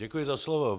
Děkuji za slovo.